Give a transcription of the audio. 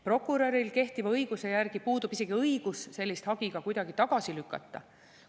Prokuröril kehtiva õiguse järgi puudub isegi õigus sellist hagi tagasi lükata.